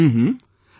Hmm...